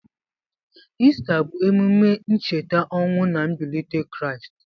Ista bụ emume ncheta ọnwụ na mbilite Kraịst.